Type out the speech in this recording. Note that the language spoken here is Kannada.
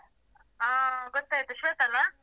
ಹಾ ಗೊತ್ತಾಯ್ತು ಶ್ವೇತಾ ಅಲ್ಲ.